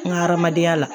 N ka hadamadenya la